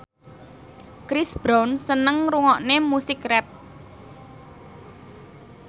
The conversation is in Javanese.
Chris Brown seneng ngrungokne musik rap